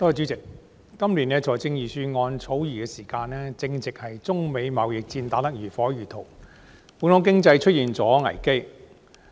主席，今年財政預算案草擬的時間，正值中美貿易戰打得如火如荼，本港經濟面臨危機。